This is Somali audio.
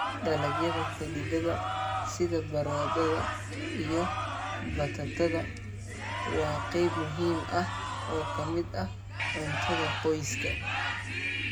Dalagyada xididdada sida baradhada iyo batatada waa qayb muhiim ah oo ka mid ah cuntada qoyska.